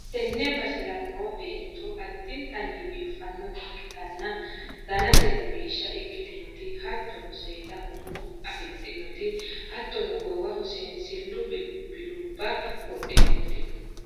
tenne basera noo beetto addintanni biiffannota ikkitanna, danaseno biishsha ikkitinoti, hattono, seeda umo afi'dhinoti, hattono goowaho seensillu bilbilubba wodhitinoti no.